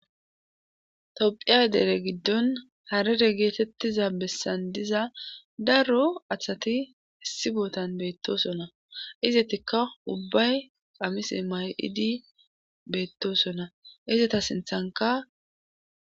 tophiya dere giddon harere geetettiza bessan diza daro asati issi bootan beettosona izetikka ubbay qamise ma7idi beettosona izeta sinthanka